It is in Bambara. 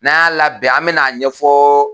N'a labɛn an bɛn'a ɲɛfɔ.